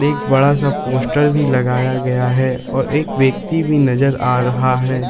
एक बड़ा सा पोस्टर भी लगाया गया है और एक व्यक्ति भी नजर आ रहा है।